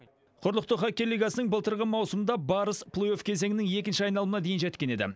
құрлықтың хоккей лигасының былтырғы маусымында барыс плей офф кезеңінің екінші айналымына дейін жеткен еді